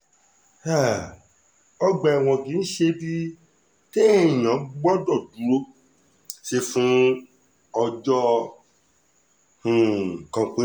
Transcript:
um ọgbà ẹ̀wọ̀n kì í ṣe ibi téèyàn gbọ́dọ̀ dúró sí fún ọjọ́ um kan pé